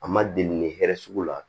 A ma deli hɛrɛ sugu la